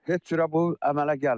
Heç cürə bu əmələ gəlmədi.